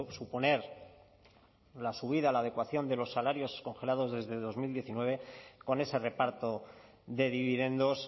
suponer la subida la adecuación de los salarios congelados desde dos mil diecinueve con ese reparto de dividendos